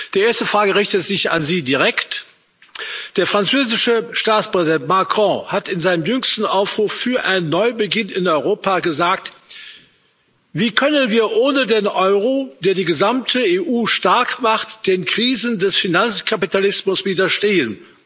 Die erste Frage richtet sich an Sie direkt Der französische Staatspräsident Macron hat in seinem jüngsten Aufruf für einen Neubeginn in Europa gesagt Wie können wir ohne den Euro, der die gesamte EU stark macht, den Krisen des Finanzkapitalismus widerstehen?